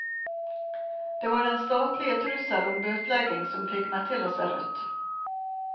Det var den statlige trussel om bøtelegging som fikk meg til å se rødt.